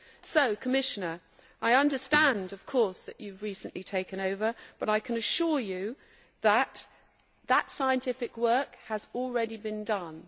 So, Commissioner, I understand, of course, that you have recently taken over but I can assure you that scientific work has already been done.